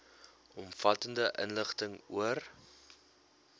omvattende inligting oor